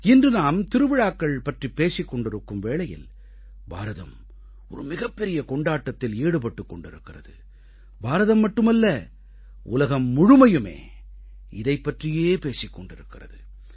இன்று நாம் திருவிழாக்கள் பற்றிப் பேசிக் கொண்டிருக்கும் வேளையில் பாரதம் ஒரு மிகப்பெரிய கொண்டாட்டத்தில் ஈடுபட்டுக் கொண்டிருக்கிறது பாரதம் மட்டுமல்ல உலகம் முழுமையுமே இதைப் பற்றியே பேசிக் கொண்டிருக்கிறது